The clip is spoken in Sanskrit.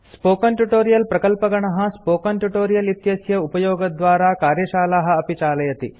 स्पोकन ट्यूटोरियल प्रकल्पगणः प्रोजेक्ट टीम160 स्पोकन ट्यूटोरियल इत्यस्य उपयोगद्वारा कार्यशालाः अपि चालयति